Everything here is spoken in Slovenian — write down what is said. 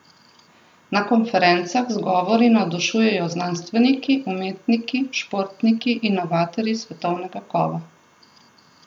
Na konferencah z govori navdušujejo znanstveniki, umetniki, športniki, inovatorji svetovnega kova.